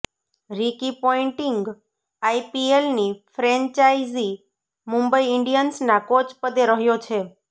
Ricky Ponting આઈપીએલની franchise Mumbai ઈન્ડિયન્સના coach પદ્દે રહ્યો છે